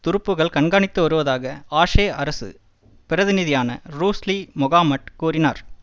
துருப்புகள் கண்காணித்து வருவதாக ஆஷே அரசு பிரதிநிதியான ரூஸ்லி மொகமட் கூறினார்